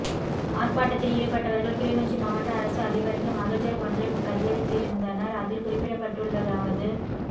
ஆர்ப்பாட்டத்தில் ஈடுப்பட்டவா்கள் கிளிநொச்சி மாவட்ட அரச அதிபருக்கு மகஜர் ஒன்றையும் கையளித்திருந்தனா் அதில் குறிப்பிடப்பட்டுள்ளதாவது